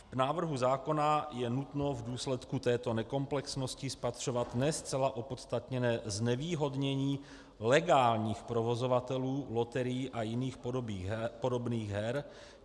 V návrhu zákona je nutno v důsledku této nekomplexnosti spatřovat ne zcela opodstatněné znevýhodnění legálních provozovatelů loterií a jiných podobných her.